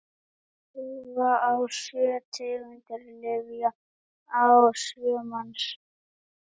prófa á sjö tegundir lyfja á sjö manns